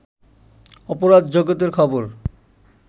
অপরাধ জগতের খবর